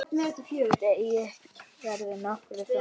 Deigið verður nokkuð þunnt.